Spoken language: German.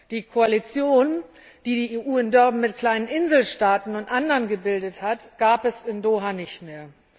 Die Koalition, die die EU in Durban mit kleinen Inselstaaten und anderen gebildet hat, gab es in Doha nicht mehr.